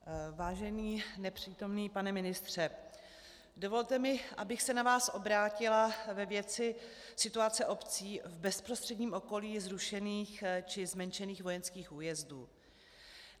Vážený nepřítomný pane ministře, dovolte mi, abych se na vás obrátila ve věci situace obcí v bezprostředním okolí zrušených či zmenšených vojenských újezdů.